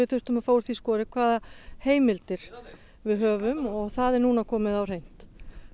þurftum að fá úr því skorið hvaða heimildir við höfum og það er núna komið á hreint